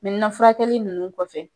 furakɛli nUnnu kɔfɛ